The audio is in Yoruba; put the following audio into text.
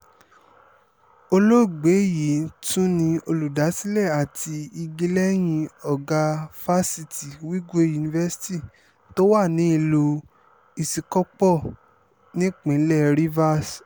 olóògbé yìí tún ni olùdásílẹ̀ àti igi lẹ́yìn ọ̀gá fásitì wigwe university tó wà nílùú isíkò̩pó̩ nípínlẹ̀ rivers